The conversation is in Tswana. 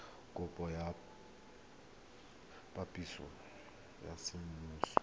kopo ya phaseporoto ya semmuso